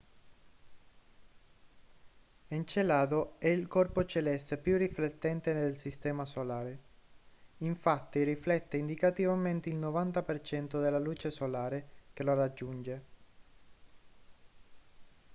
encelado è il corpo celeste più riflettente del sistema solare infatti riflette indicativamente il 90% della luce solare che lo raggiunge